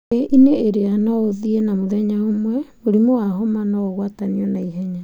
Thĩ-inĩ ĩrĩa no ũthiĩ na mũthenya ũmwe, mũrimũ wa homa no ũgwatanio naihenya.